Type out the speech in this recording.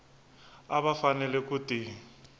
a va fanele ku ti